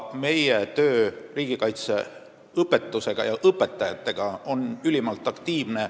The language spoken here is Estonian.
Meie töö riigikaitseõpetuse valdkonnas, sh suhtlemine õpetajatega, on ülimalt aktiivne.